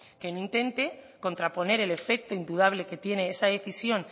que no intente contraponer el efecto indudable que tiene esa decisión